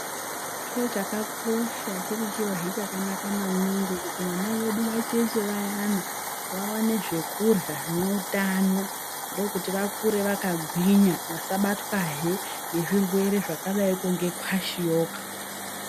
Chiro chakakosha chiri chirohe chakanaka maningi, kuti vana vedu vacheche vayana vaone zvekurya zvinoutano, ndokuti vakure vakagwinya vasabatwahe ngezvirwere zvakadaiko ngekwashiyoka.